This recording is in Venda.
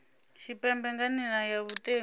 tshipembe nga nila ya vhutengu